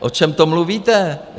O čem to mluvíte?